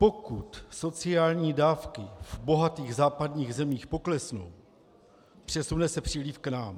Pokud sociální dávky v bohatých západních zemích poklesnou, přesune se příliv k nám.